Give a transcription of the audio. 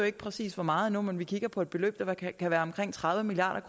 ikke præcis hvor meget endnu men vi kigger på et beløb der kan være på omkring tredive milliard